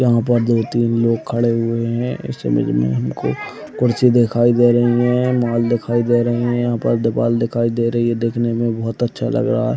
यहाँ पर दो तीन लग खड़े हुए है इस इमेज में हमको कुर्सी दिखाई दे रही है मॉल दिखाई दे रहे है यहाँ पर दीवाल दिखाई दे रही है देखने में बहुत अच्छा लग रहा है।